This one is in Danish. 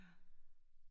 Ja